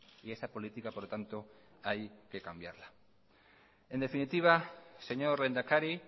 y esa política por lo tanto hay que cambiarla en definitiva señor lehendakari